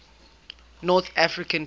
north african campaign